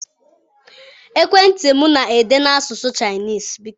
Ekwentị m na-ede n'asụsụ Chinese.